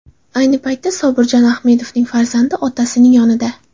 Ayni vaqtda Sobirjon Ahmedovning farzandi otasining yonida.